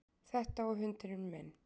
Þetta og hundurinn minn